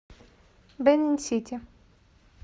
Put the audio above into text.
бенин сити